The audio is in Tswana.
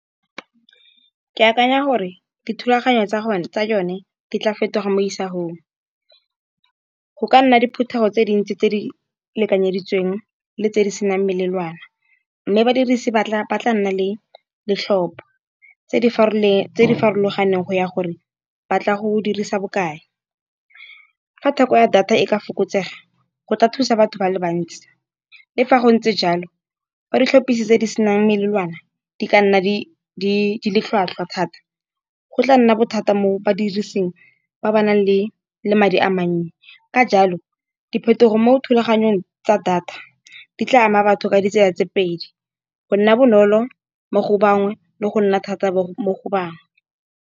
Ke akanya gore dithulaganyo tsa yone di tla fetoga mo isagong, go ka nna diphuthego tse dintsi tse di lekanyeditsweng le tse di senang melelwane. Mme badirisi ba tla nna le setlhopo tse di farologaneng go ya gore ba tla go dirisa bokae. Fa theko ya data e ka fokotsega go tla thusa batho ba le bantsi. Le fa go ntse jalo ba di tlhopisiwa tse di senang melawana di ka nna ditlhwatlhwa thata, go tla nna bothata mo badirising ba ba nang le le madi a mannye. Ka jalo diphetogo mo thulaganyong tsa data, di tla ama batho ka ditsela tse pedi go nna bonolo mo go bangwe le go nna thata mo go bangwe.